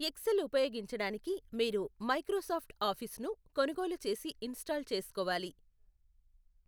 XL ఉపయోగించడానికి మీరు Microsoft ఆఫీస్ను కొనుగోలు చేసి ఇంస్టాల్ చేసుకోవాలి.